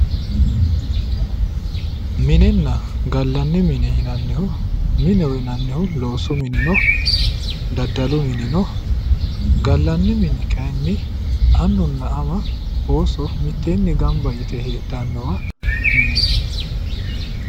minenna gallanni mine yinannihu mineho yinannihu loosu mini no daddalu mini no gallanni mini kayiinni annunna ama ooso mitteenni gamba yite heedhannowa mineeti.